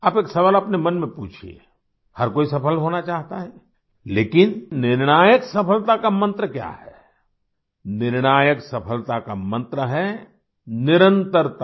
आप एक सवाल अपने मन में पूछिये हर कोई सफल होना चाहता है लेकिन निर्णायक सफलता का मंत्र क्या है निर्णायक सफलता का मंत्र है निरंतरता